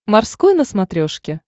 морской на смотрешке